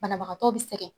Banabagatɔ bɛ sɛgɛn